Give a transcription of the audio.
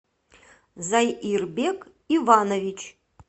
зайирбек иванович